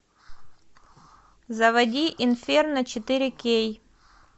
заводи инферно четыре кей